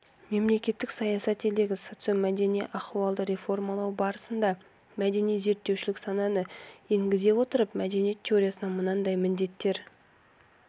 мемлекеттік саясат елдегі социомәдени ахуалды реформалау барысында мәдени зерттеушілік сананы енгізе отырып мәдениет теориясына мынадай міндеттер